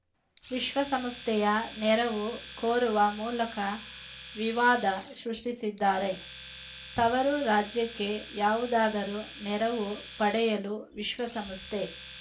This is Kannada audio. ವಿಶ್ವಸಂಸ್ಥೆಯ ನೆರವು ಕೋರುವ ಮೂಲಕ ವಿವಾದ ಸೃಷ್ಟಿಸಿದ್ದಾರೆ ತವರು ರಾಜ್ಯಕ್ಕೆ ಯಾವುದಾದರೂ ನೆರವು ಪಡೆಯಲು ವಿಶ್ವಸಂಸ್ಥೆ